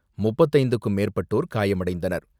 முப்பத்து ஐந்திற்க்கும் மேற்பட்டோர் காயமடைந்தனர்.